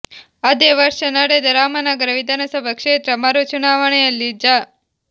ಅದೇ ವರ್ಷ ನಡೆದ ರಾಮನಗರ ವಿಧಾನಸಭಾ ಕ್ಷೇತ್ರ ಮರು ಚುನಾವಣೆಯಲ್ಲಿ ಜಾ